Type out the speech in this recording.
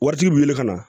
Waritigi wulila ka na